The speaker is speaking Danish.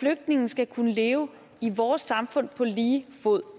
flygtningene skal kunne leve i vores samfund på lige fod